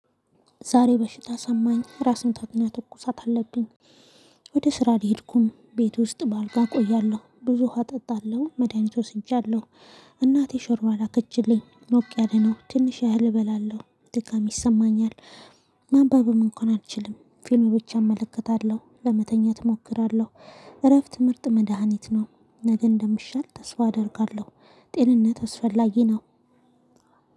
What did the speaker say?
ዛሬ በሽታ ሰማኝ ራስ ምታትና ትኩሳት አለብኝ። ወደ ስራ አልሄድኩም ቤት ውስጥ በአልጋ እቆያለሁ ብዙ ውሃ እጠጣለሁ መድሃኒት ወስጃለሁ። እናቴ ሾርባ ላከችልኝ ሞቅ ያለ ነው ትንሽ እህል እበላለሁ ድካም ይሰማኛል። ማንበብም እንኳን አልችልም ፊልም ብቻ እመለከታለሁ ለመተኛት እሞክራለሁ። እረፍት ምርጥ መድሃኒት ነው። ነገ እንደምሻል ተስፋ አደርጋለሁ። ጤንነት አስፈላጊ ነው